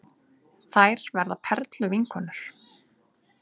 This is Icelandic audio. Þær verða perluvinkonur.